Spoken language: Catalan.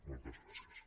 moltes gràcies